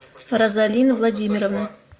розалины владимировны